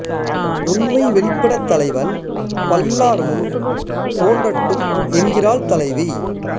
உண்மை வெளிப்படத் தலைவன் பல்லார் முன் தோன்றட்டும் என்கிறாள் தலைவி